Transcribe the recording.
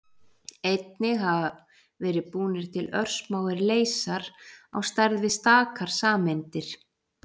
Einnig hafa verið búnir til örsmáir leysar, á stærð við stakar sameindir.